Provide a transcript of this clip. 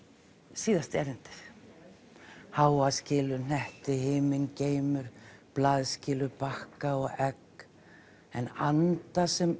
síðasta erindið há skilur hnetti himingeimur blað skilur bakka og egg en anda sem